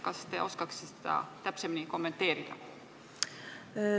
Kas te oskate seda täpsemini kommenteerida?